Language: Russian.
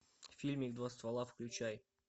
фильмик два ствола включай